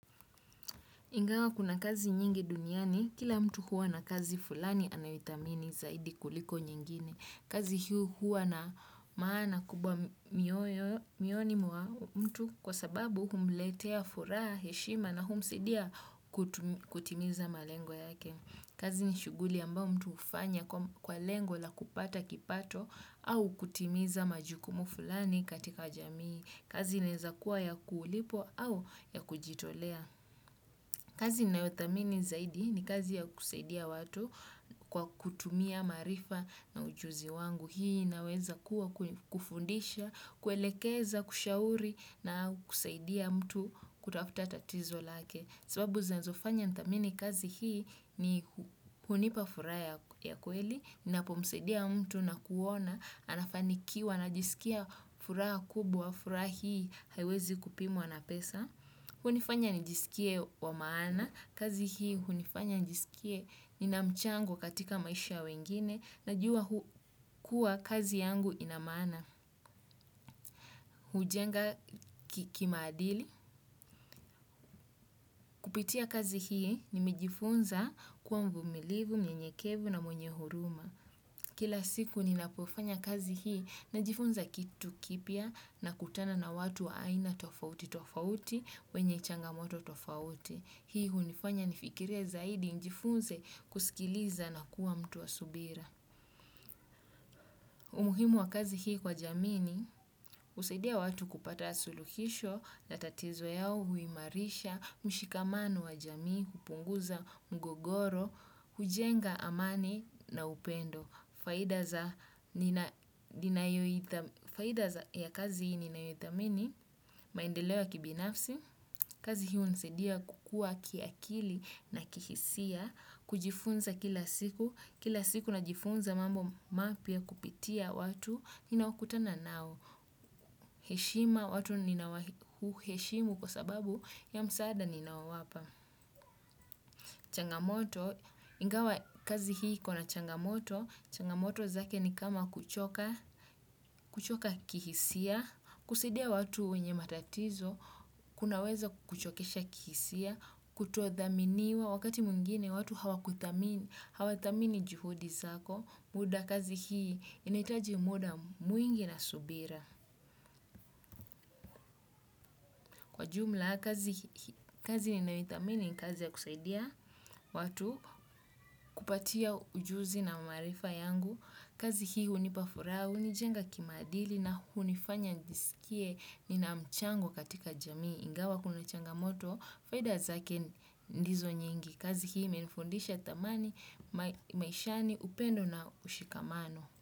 Ingawa kuna kazi nyingi duniani, kila mtu huwa na kazi fulani anayoithamini zaidi kuliko nyingine. Kazi hio huwa na maana kubwa moyoni mwa mtu, kwa sababu humletea furaha, heshima na humsaidia kutimiza malengo yake. Kazi ni shughuli ambao mtu hufanya kwa lengo la kupata kipato au kutimiza majukumu fulani katika jamii. Kazi inaeza kuwa ya kulipwa au ya kujitolea. Kazi ninayothamini zaidi ni kazi ya kusaidia watu kwa kutumia maarifa na ujuzi wangu. Hii inaweza kuwa kufundisha, kuelekeza, kushauri na kusaidia mtu kutafuta tatizo lake. Sababu zinazofanya nithamini kazi hii ni kunipa furaha ya kweli ninapomsaidia mtu na kuona anafanikiwa. Najisikia furaha kubwa, furaha hii haiwezi kupimwa na pesa. Hunifanya nijisikie wa maana, kazi hii hunifanya nijisikie ni namchango katika maisha wengine, najua kuwa kazi yangu ina maana. Hujenga kimaadili. Kupitia kazi hii nimejifunza kuwa mvumilivu, mnyenyekevu na mwenye huruma. Kila siku ninapofanya kazi hii najifunza kitu kipya, nakutana na watu aina tofauti tofauti, wenye changamoto tofauti. Hii hunifanya nifikirie zaidi, nijifunze kusikiliza na kuwa mtu wa subira. Umuhimu wa kazi hii kwa jamii ni, husaidia watu kupata suluhisho la tatizo yao, huimarisha mshikamano wa jamii, kupunguza mgogoro, hujenga amani na upendo. Faida ya kazi hii ninayoithamini, maendeleo ya kibinafsi, kazi hii hunisadia kukua kiakili na kihisia, kujifunza kila siku, kila siku najifunza mambo mapya kupitia watu, ninaokutana nao. Heshima, watu ninawaheshimu kwa sababu ya msaada ninaowawapa. Changamoto, ingawa kazi hii ikona changamoto, changamoto zake ni kama kuchoka, kuchoka kihisia, kusaidia watu wenye matatizo, kunaweza kuchokesha kihisia, kutodhaminiwa, wakati mwingine watu hawakuthamini, hawathamini juhudi zako. Muda, kazi hii, inahitaji muda mwingi na subira. Kwa jumla, kazi ninayoithamini ni kazi ya kusaidia, watu kupatia ujuzi na maarifa yangu. Kazi hii hunipa furaha, hunijenga kimaadili na hunifanya nijisikie, nina mchango katika jamii, ingawa kuna changamoto, faida zake ndizo nyingi, kazi hii imenifundisha thamani, maishani, upendo na ushikamano.